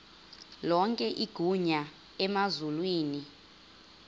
lonke igunya emazulwini